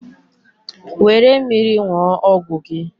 were mmiri ṅụọ ọgwụ gị.